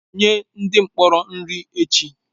Nye onye mkpọrọ nri ya echi!